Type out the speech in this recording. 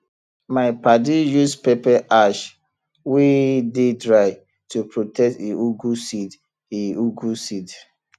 my padi use pepper ash wey dey dry to protect e ugwu seed e ugwu seed